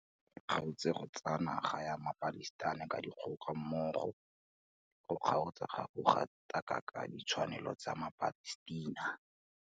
E kgaotse go tsaya naga ya maPalestina ka dikgoka mmogo le go kgaotsa go gatakaka ditshwanelo tsa maPalestina.